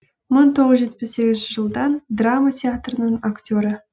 мың тоғыз жүз жетпіс сегізінші жылдан драма театрының актері